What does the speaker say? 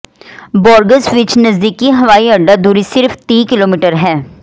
Burgas ਵਿੱਚ ਨਜ਼ਦੀਕੀ ਹਵਾਈਅੱਡਾ ਦੂਰੀ ਸਿਰਫ ਤੀਹ ਕਿਲੋਮੀਟਰ ਹੈ